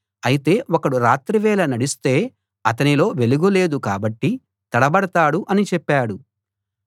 అయితే ఒకడు రాత్రివేళ నడిస్తే అతనిలో వెలుగు లేదు కాబట్టి తడబడతాడు అని చెప్పాడు